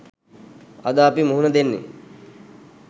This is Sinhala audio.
අද අපි මුහුණ දෙන්නෙ